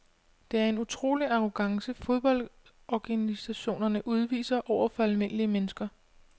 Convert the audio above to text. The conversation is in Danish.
Det er en utrolig arrogance fodboldorganisationerne udviser over for almindelige mennesker.